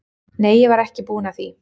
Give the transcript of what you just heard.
Nei, ég var ekki búin að því.